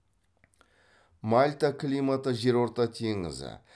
мальта климаты жерорта теңізі